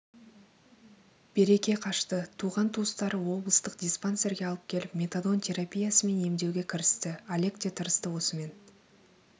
береке қашты туған-туыстары облыстық диспансерге алып келіп метадон терапиясымен емдеуге кірісті олег те тырысты осымен